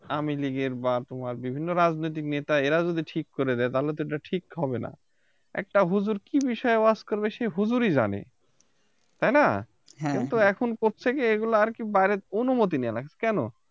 আওয়ামী লিগের বা তোমার বিভিন্ন রাজনৈতিক নেতা এরা যদি ঠিক করে দেয় তাহলে তো এটা ঠিক হবে না একটা হুজুর কি বিষয়ে ওয়াজ করবে সে হুজুরই জানে তাই না? কিন্তু এখন করছে কে এগুলো আর কি বাইরের অনুমতি নেয়া লাগছে কেন?